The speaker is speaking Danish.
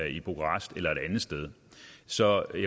i bukarest eller et andet sted så jeg